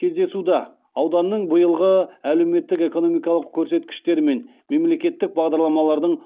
кездесуда ауданның биылғы әлеуметтік экономикалық көрсеткіштері мен мемлекеттік бағдарламалардың